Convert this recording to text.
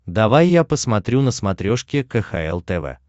давай я посмотрю на смотрешке кхл тв